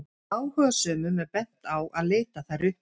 áhugasömum er bent á að leita þær uppi